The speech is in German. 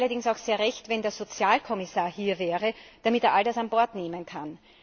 Mir wäre es allerdings auch sehr recht, wenn der Sozialkommissar hier wäre, damit er all das an Bord nehmen kann.